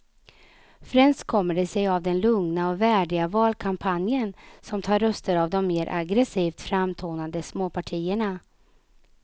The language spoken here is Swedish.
Främst kommer det sig av den lugna och värdiga valkampanjen som tar röster av de mer aggresivt framtonade småpartierna.